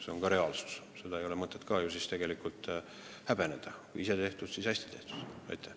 See on reaalsus ja seda ei ole ka mõtet tegelikult häbeneda – ise tehtud, hästi tehtud!